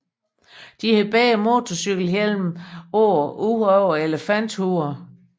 De har begge motorcykelhjelme på ud over elefanthuerne